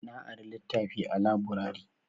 Na ari litafi a laburare